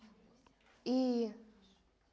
и